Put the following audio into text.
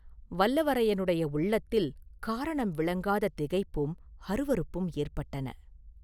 வல்லவரையனுடைய உள்ளத்தில் காரணம் விளங்காத திகைப்பும் அருவருப்பும் ஏற்பட்டன.